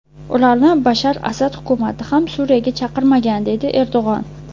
Ularni Bashar Asad hukumati ham Suriyaga chaqirmagan”, deydi Erdo‘g‘on.